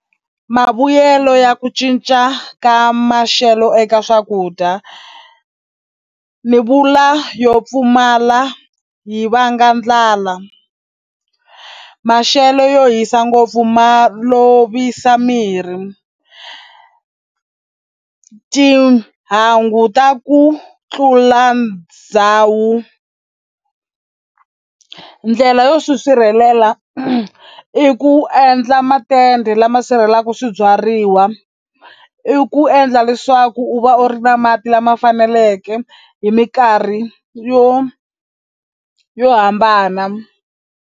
Mavuyelo ya ku cinca ka maxelo eka swakudya ni vula yo pfumala yi vanga ndlala maxelo yo hisa ngopfu ma lovisa mirhi, tihangu ta ku tlula ndhawu, ndlela yo swi sirhelela i ku endla matende lama sirhelelaka swibyariwa i ku endla leswaku u va u ri na mati lama faneleke hi minkarhi yo yo hambana.